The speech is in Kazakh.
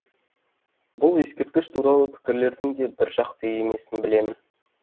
бұл ескерткіш туралы пікірлердің де біржақты емесін білемін